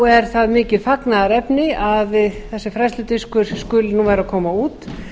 er það mikið fagnaðarefni að þessi fræðsludiskur skuli nú vera að koma út